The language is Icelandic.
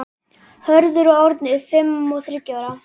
Hörður og Árni, fimm og þriggja ára.